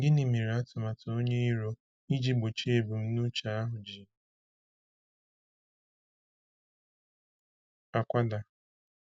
Gịnị mere atụmatụ onye iro iji gbochie ebumnuche ahụ ji akwada?